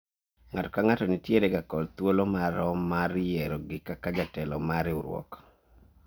Ng'ato ka ng'ato nitiere ga kod thuolo marom mar yierogi kaka jatelo mar riwruok